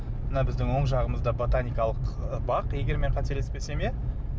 мына біздің оң жағымызда ботаникалық ы бақ егер мен қателеспесем иә